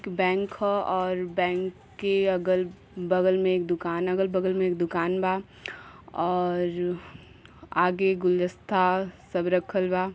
Bank ह और bank के अगल बगल में एक दुकान अगल बगल में एक दुकान बा और आगे गुलदस्ता सब रखल बा।